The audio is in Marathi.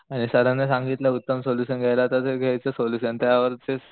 आणि सरांनी सांगितलं उत्तम सोल्युशन घेयला तर ते घेयचा सोलुशन त्यावरचेच